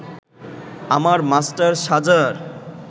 আমার মাস্টার সাজার